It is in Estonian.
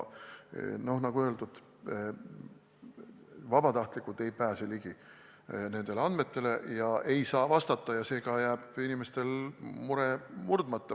Nagu öeldud, vabatahtlikud ei pääse nendele andmetele ligi ega saa vastata, seega jääb inimestel mure murdmata.